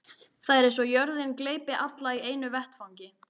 Það er eins og jörðin gleypi alla í einu vetfangi.